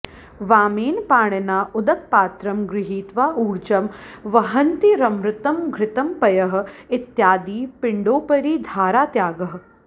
वामेन पाणिना उदकपात्रं गृहीत्वा ऊर्जं वहन्तीरमृतं घृतं पयः इत्यादि पिण्डोपरि धारात्यागः